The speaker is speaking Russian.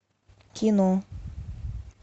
кино